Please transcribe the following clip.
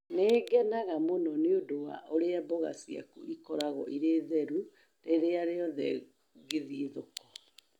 Nĩ ngenaga mũno nĩ ũndũ wa ũrĩa mboga ciaku ikoragwo irĩ theru rĩrĩa rĩothe ngĩthiĩ thoko